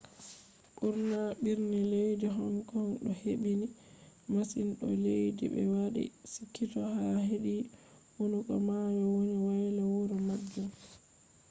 burna birni leddi hong kong do hebbini masin do leddi be wadi chikito ha hedi hunduko mayo woni woyla wuro majum